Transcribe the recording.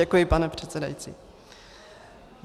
Děkuji, pane předsedající.